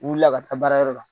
U wulila ka ta baara yɔrɔ la.